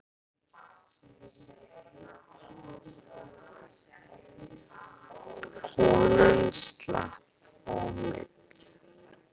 Konan slapp ómeidd.